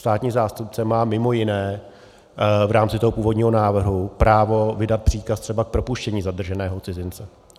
Státní zástupce má mimo jiné v rámci toho původního návrhu právo vydat příkaz třeba k propuštění zadrženého cizince.